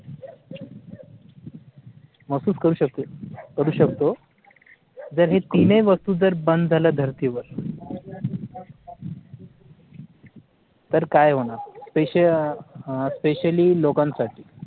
महसूस करू शकू करू शकतो जर हे तीनही वस्तू जर बंद झाला धरती वर तर काय होणार SpeciallySpecially लोकं साठी